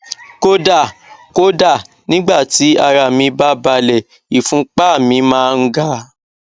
kódà kódà nígbà tí ara mí bá balẹ ìfúnpá mi máa ń ga